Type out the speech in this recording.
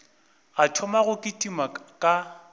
a thoma go kitima ka